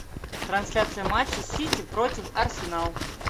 трансляция матча сити против арсенал